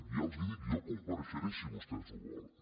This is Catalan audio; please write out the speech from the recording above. ja els ho dic jo hi comparei·xeré si vostès ho volen